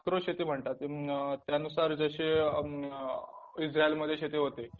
micro शेती म्हणतात त्यानुसार जशे इझ्रायलमध्ये शेती होते